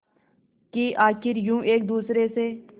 कि आखिर यूं एक दूसरे से